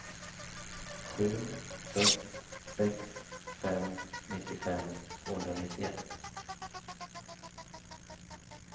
sju sex sex fem nittiofem tvåhundranittioett